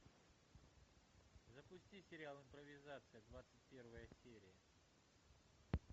запусти сериал импровизация двадцать первая серия